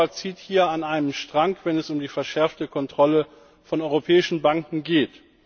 Europa zieht hier an einem Strang, wenn es um die verschärfte Kontrolle von europäischen Banken geht.